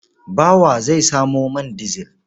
Bawa zai samo man dizil.